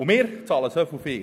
Und wir bezahlen so viel.